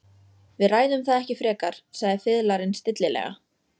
Við ræðum það ekki frekar, sagði fiðlarinn stillilega.